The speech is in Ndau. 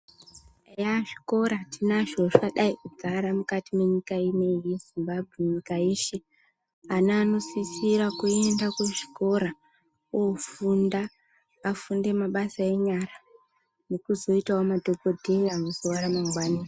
Eya zvikora tinazvo zvakadai kudzara mukati menyika ineyi yeZimbabwe nyika yeshe. Ana anosisira kuenda kuzvikora ofunda, afunde mabasa enyara nokuzoitawo madhokodheya muzuwa ramangwani.